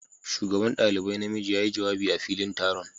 shugaban dalibai na miji ya yi jawabi a filin taron.